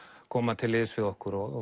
koma til liðs við okkur og